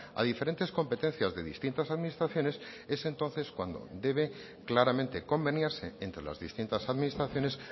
a diferentes competencias de distintas administraciones es entonces cuando debe claramente convenirse entre las distintas administraciones